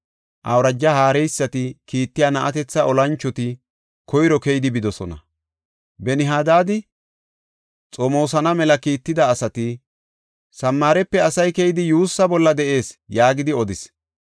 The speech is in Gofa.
Awuraja haareysati kiittiya na7atetha olanchoti koyro keyidi bidosona. Ben-Hadaadi xomoosana mela kiitida asati, “Samaarepe asay keyidi yuussaa bolla de7ees” yaagidi odis.